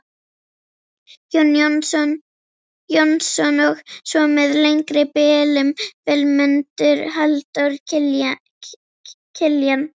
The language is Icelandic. Jónsson og svo með lengri bilum, Vilmundur, Halldór Kiljan.